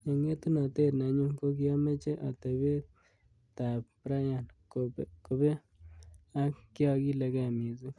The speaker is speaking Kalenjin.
Eng etunotet nenyu kokiameche atebet ab Bryan kobe ak kyakilkei missing.